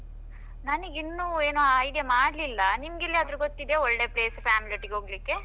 ನನ್ಗೆ ಇನ್ನೂ idea ಮಾಡ್ಲಿಲ್ಲ ನಿಮ್ಗೆ ಎಲ್ಲಾದ್ರೂ ಗೊತ್ತಿದೀಯಾ ಒಳ್ಳೆ place family ಒಟ್ಟಿಗೆ ಹೋಗ್ಲಿಕ್ಕೆ.